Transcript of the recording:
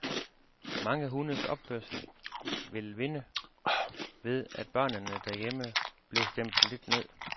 Mange hundes opførsel ville vinde ved, at børnene derhjemme blev stemt lidt ned.